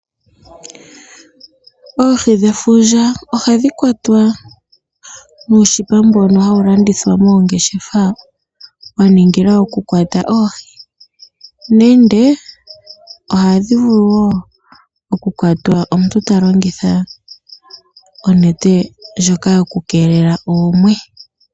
Oohi dhefundja ohadhi kwatwa nuunete mbono hawu landithwa moongeshefa wa ningilwa okukwata oohi nenge ohadhi vulu wo okukwatwa omuntu ta longitha onete ndjoka yokukeelela oomwe.